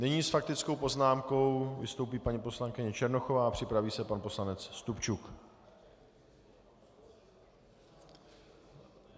Nyní s faktickou poznámkou vystoupí paní poslankyně Černochová a připraví se pan poslanec Stupčuk.